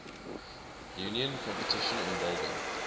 union competition involving